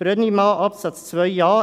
Brönnimann, Absatz 2 Buchstabe